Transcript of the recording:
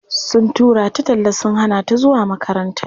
Sun tura ta talla sun hana ta zuwa makaranta.